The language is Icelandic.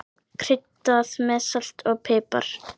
Kryddað með salti og pipar.